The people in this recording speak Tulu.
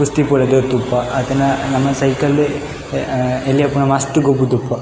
ಅತ್ತುಂಡ ನಮ ಸೈಕಲ್ ಎಲ್ಲ್ಯ ಇಪ್ಪುನ ಮಸ್ತ್ ಗೊಬ್ಬುದುಪ್ಪುವ.